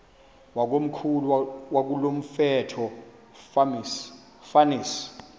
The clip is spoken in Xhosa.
wakomkhulu wakulomfetlho fonis